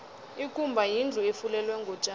ikumba yindlu efulelwe ngotjani